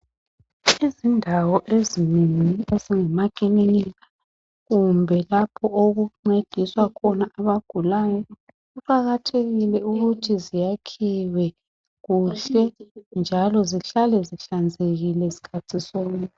Indawo ezinengi ezingamaclinikhi kumbe indawo lapho okuncediswa khona abagulayo kuqakathekile ukuthi ziyakhiwe kuhle njalo zihlale zihlanzekile skhathi sonke